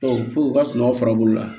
fo u ka sunɔgɔ fara bolo la